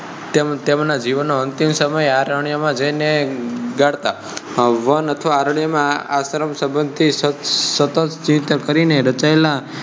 one અથવા અરણ્ય માં આશ્રમ સંબંધ થી સતત ચિંતન કરી ને રચયેલા તેમના જીવન નો અંતિમ સમય અરણ્ય માં જય ને ગાળતા